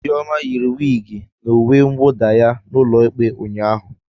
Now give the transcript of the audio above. Ijeoma yiri wigi na uwe mwuda ya n'ulo ikpe ụnyaahụ.